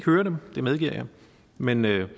høre dem det medgiver jeg men jeg vil